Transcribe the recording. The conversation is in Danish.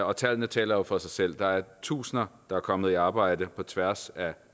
og tallene taler jo for sig selv der er tusinder der er kommet i arbejde på tværs af